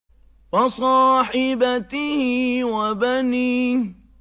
وَصَاحِبَتِهِ وَبَنِيهِ